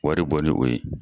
Wari bɔ ni o ye.